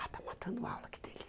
Ah, está matando aula, que delícia.